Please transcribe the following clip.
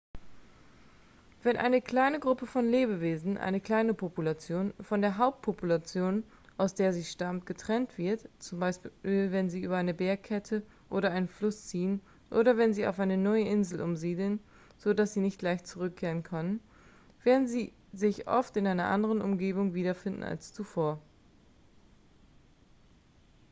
wenn eine kleine gruppe von lebewesen eine kleine population von der hauptpopulation aus der sie stammt getrennt wird z. b. wenn sie über eine bergkette oder einen fluss ziehen oder wenn sie auf eine neue insel umsiedeln so dass sie nicht leicht zurückkehren können werden sie sich oft in einer anderen umgebung wiederfinden als zuvor